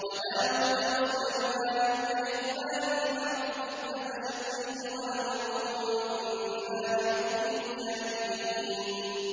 وَدَاوُودَ وَسُلَيْمَانَ إِذْ يَحْكُمَانِ فِي الْحَرْثِ إِذْ نَفَشَتْ فِيهِ غَنَمُ الْقَوْمِ وَكُنَّا لِحُكْمِهِمْ شَاهِدِينَ